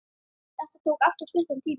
Þetta tók alltof stuttan tíma.